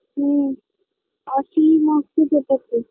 হু আশি marks সেটাতে